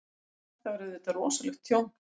Þetta var auðvitað rosalegt tjón.